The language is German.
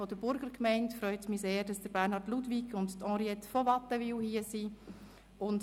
Es freut mich sehr, dass Bernhard Ludwig und Henriette von Wattenwyl von der Burgergemeinde hier sind.